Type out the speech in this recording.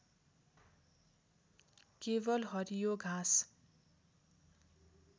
केवल हरियो घाँस